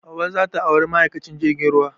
Hauwa za ta auri ma'aikacin jirgin ruwa